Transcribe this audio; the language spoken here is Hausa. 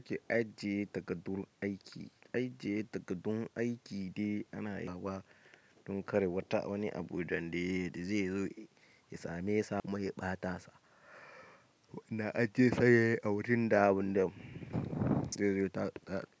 Ajiye takardun aiki. Ajiye takardun aiki dai ana yi don kar wata wani abu da zai zo ya same sa kuma ya ɓata sa. Wannan ajiyarsa a wurin da ba zai zo ya ɓata.